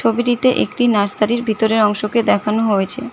ছবিটিতে একটি নার্সারি -র ভিতরের অংশকে দেখানো হয়েছে।